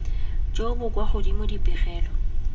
jo bo kwa godimo dipegelo